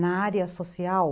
Na área social...